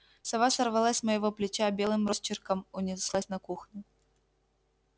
сова сорвалась с моего плеча белым росчерком унеслась на кухню